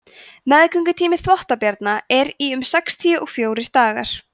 meðgöngutími þvottabjarna er í um sextíu og fjórir dagar